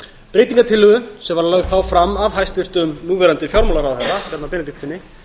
breytingartillögu sem var þá lögð fram af hæstvirtum núverandi fjármálaráðherra bjarna benediktssyni